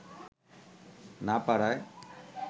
না পারায়